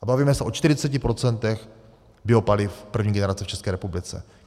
A bavíme se o 40 % biopaliv první generace v České republice.